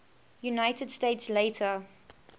united states later